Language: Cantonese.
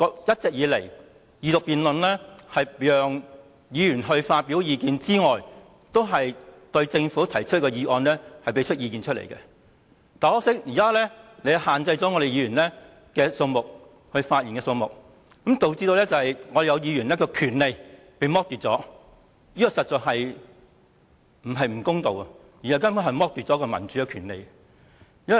一直以來，二讀辯論除了是讓議員發表意見外，也是對政府提出的議案表達意見，但很可惜，現時主席卻限制了可以發言的議員的數目，導致有議員的權利遭剝奪，這不僅是不公道，根本是剝奪民主權利。